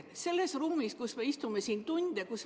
Me istume siin saalis tunde.